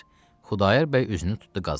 Xudayar bəy üzünü tutdu qazıya.